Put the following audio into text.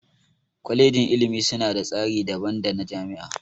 Kwalejin ilimi suna da tsari daban dana jami'a.